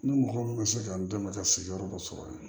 Ni mɔgɔ min ma se ka n dɛmɛ ka sigiyɔrɔ dɔ sɔrɔ yen